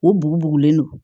U bugu bugulen don